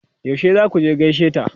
Yaushe za ku je gaishe ta?